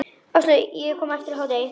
Áslaug kom eftir hádegi.